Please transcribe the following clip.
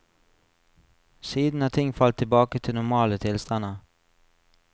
Siden har ting falt tilbake til normale tilstander.